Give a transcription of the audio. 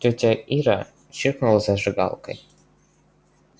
тётя ира чиркнула зажигалкой